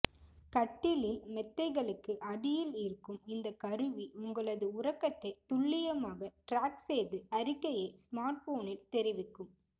கட்டிலில் மெத்தைகளுக்கு அடியில் இருக்கும் இந்த கருவி உங்களது உறக்கத்தை துள்ளியமாக ட்ராக் செய்து அறிக்கையை ஸ்மார்ட்போனில் தெரிவிக்கும்